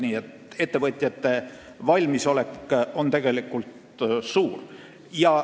Nii et ettevõtjate valmisolek on tegelikult suur.